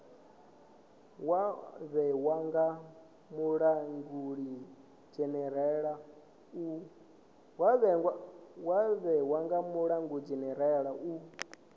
wa vhewa nga mulangulidzhenerala u